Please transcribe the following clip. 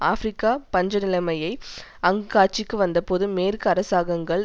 ஆபிரிக்க பஞ்ச நிலைமை அங்கு காட்சிக்கு வந்தபோது மேற்கு அரசாங்கங்கள்